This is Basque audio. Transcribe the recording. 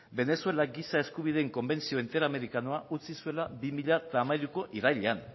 venezuela giza eskubideen konbentzio interamerikanoa utzi zuela bi mila hamairuko irailean